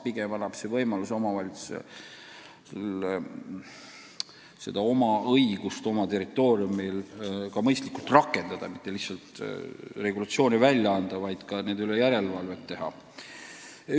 Pigem annab see omavalitsusele võimaluse oma õigusi oma territooriumil mõistlikult rakendada – mitte lihtsalt regulatsioone välja anda, vaid ka nende üle järelevalvet teha.